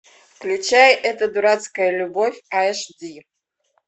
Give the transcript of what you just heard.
включай эта дурацкая любовь аш ди